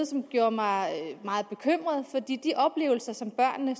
som gjorde mig meget bekymret for de de oplevelser som børnene